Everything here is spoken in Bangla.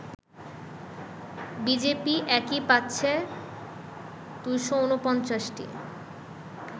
বিজেপি একাই পাচ্ছে ২৪৯টি